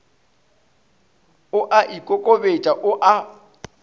o a ikokobetša o a